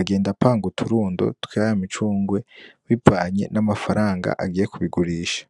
agenda apanga uturundo twa ya micungwe bivanye n'amafaranga agiye kubigurisha.